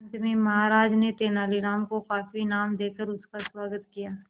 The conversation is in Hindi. अंत में महाराज ने तेनालीराम को काफी इनाम देकर उसका स्वागत किया